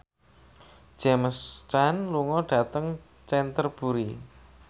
James Caan lunga dhateng Canterbury